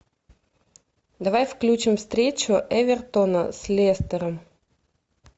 давай включим встречу эвертона с лестером